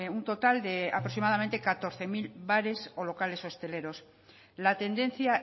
un total de aproximadamente catorce mil bares o locales hosteleros la tendencia